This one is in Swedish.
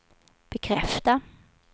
bekräfta